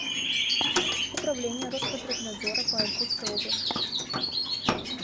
управление роспотребнадзора по иркутской области